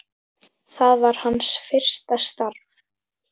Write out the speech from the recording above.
Það var hans fyrsta starf.